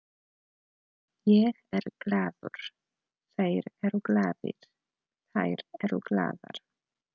Ég er glaður, þeir eru glaðir, þær eru glaðar.